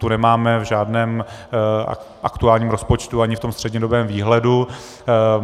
Tu nemáme v žádném aktuálním rozpočtu ani v tom střednědobém výhledu.